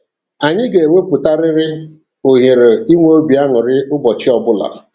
Anyị ga-ewepụtarịrị ohere inwe obi aṅụrị ụbọchị ọbụla!